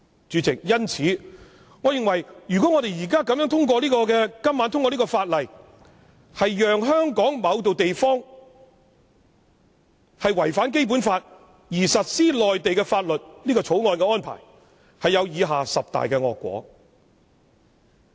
主席，因此，我認為如果我們今晚這樣子通過《條例草案》，讓香港的某個地方違反《基本法》而實施內地法例，這種《條例草案》的安排有以下十大惡果。